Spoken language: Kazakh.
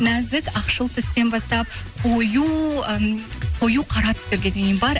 нәзік ақшыл түстен бастап м қою қара түстерге дейін бар